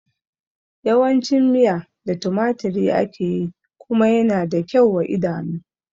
Yawan cin miya da tumaturi ake yi kuma yana da kyau wa idanu